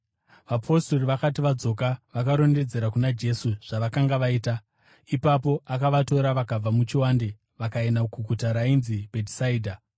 Vapostori vakati vadzoka, vakarondedzera kuna Jesu zvavakanga vaita. Ipapo akavatora vakabva muchivande vakaenda kuguta rainzi Bhetisaidha,